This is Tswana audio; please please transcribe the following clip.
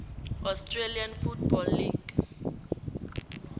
australian football league